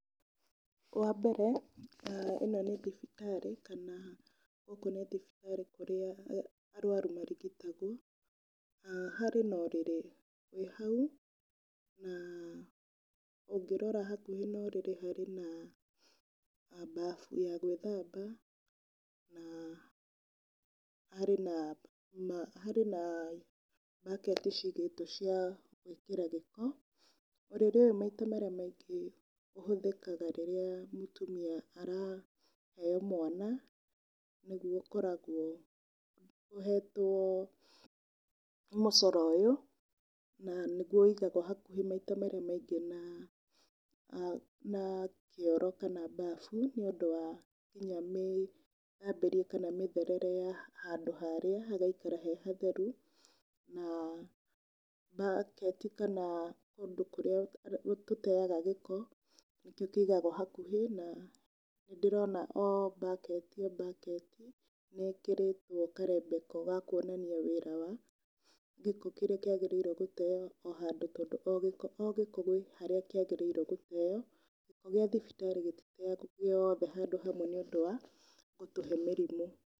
Wa mbere ĩno nĩ thibitarĩ kana gũkũ nĩ thibitarĩ kũrĩa arwaru marigitagwo, harĩ na ũrĩrĩ wĩ hau na ũngĩrora hakuhĩ na ũrĩrĩ harĩ na bafu ya gwĩthamba na harĩ na bucket cigĩtwo cia gwĩkĩra gĩko. Ũrĩrĩ ũyũ maita marĩa maingĩ ũhũthĩkaga rĩrĩa mũtumia araheo mwana nĩguo ũkoragwo ũhetwo mũcoro ũyũ na nĩguo wigagwo maita marĩa maingĩ hakuhĩ na kĩoro kana babu nĩ ũndũ wa nginya mĩthambĩrie kana mĩtherere ya handũ harĩa hagaikara he hatheru. Na bucket kana kũndũ kũrĩa tũteaga gĩko nĩ kũigagwo hakuhĩ na nĩ ndĩrona o bucket o bucket nĩ ĩkĩrĩtwo karembeko ga kuonania wĩra wa gĩko kĩrĩa kĩagĩriirwo gũteo o handũ, o gĩko o gĩko kwĩ harĩa kĩagĩrĩirwo gũteo, gĩa thibitarĩ gĩtiteagwo gĩothe handũ hamwe nĩ ũndũ wa gũtũhe mĩrimũ.